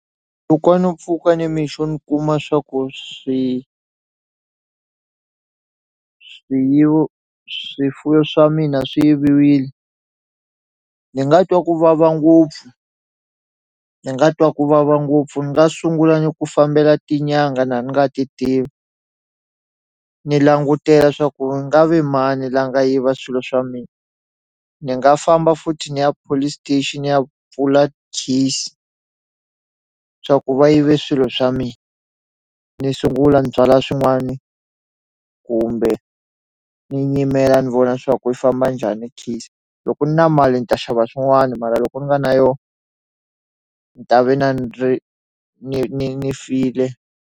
Loko a no pfuka nimixo ni kuma swa ku swi swiyivo swifuwi swa mina swi yiviwile ni nga twa ku vava ngopfu ni nga twa ku vava ngopfu ni nga sungula ni ku fambela tinyanga na ni nga ti tivi ni langutela swa ku nga ve mani la nga yiva swilo swa mina ni nga famba futhi ni ya police station ni ya pfula case swa ku va yive swilo swa mina ni sungula ni byala swin'wani kumbe ni nyimela ni vona swa ku famba njhani case loko ni na mali ni ta xava swin'wana mara loko ni nga na yo ni ta ve na ni ri ni ni ni file.